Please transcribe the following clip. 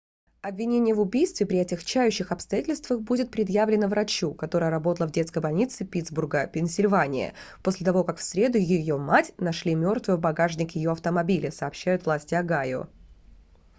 обвинение в убийстве при отягчающих обстоятельствах будет предъявлено врачу которая работала в детской больнице питтсбурга пенсильвания после того как в среду ее мать нашли мертвой в багажнике ее автомобиля сообщают власти огайо